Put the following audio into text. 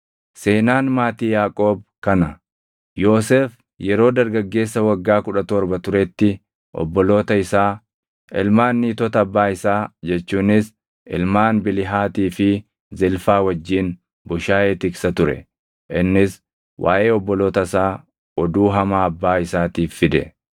Seenaan maatii Yaaqoob kana. Yoosef yeroo dargaggeessa waggaa kudha torba turetti obboloota isaa, ilmaan niitota abbaa isaa jechuunis ilmaan Bilihaatii fi Zilfaa wajjin bushaayee tiksa ture; innis waaʼee obboloota isaa oduu hamaa abbaa isaatiif fide.